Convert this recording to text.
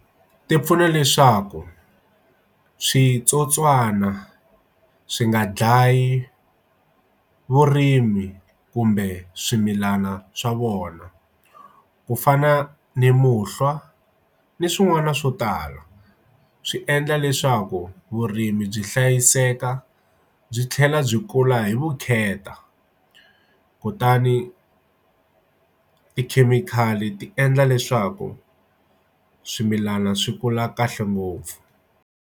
Ti pfuna leswaku switsotswana swi nga dlayi vurimi kumbe swimilana swa vona ku fana ni muhlwa ni swin'wana swo tala swi endla leswaku vurimi byi hlayiseka byi tlhela byi kula hi vukheta kutani tikhemikhali ti endla leswaku swimilana swi kula kahle ngopfu.